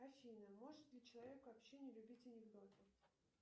афина может ли человек вообще не любить анекдоты